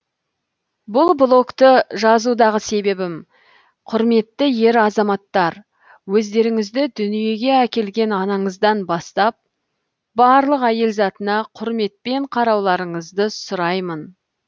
бұл блокты жазудағы себебім құрметті ер азаматтар өздеріңізді дүниеге әкелген анаңыздан бастап барлық әйел затына құрметпен қарауларыңызды сұраймын